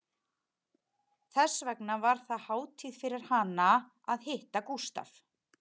Þess vegna var það hátíð fyrir hana að hitta Gústaf